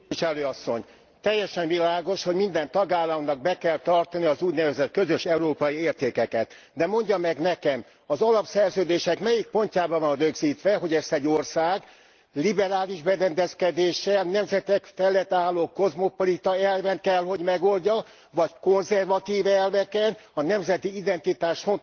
Teljesen világos, hogy minden tagállamnak be kell tartania az úgynevezett közös európai értékeket, de mondja meg nekem az alapszerződések melyik pontjában van rögzítve, hogy ezt egy ország liberális berendezkedéssel, nemzetek felett álló kozmopolita elven kell, hogy megoldja vagy konzervatív elveken, a nemzeti identitást fontosnak tartva.